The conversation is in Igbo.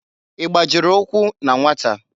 I gbajiri ukwu na nwata?